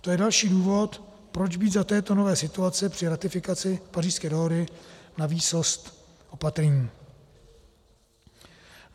To je další důvod, proč být za této nové situace při ratifikaci Pařížské dohody na výsost opatrní.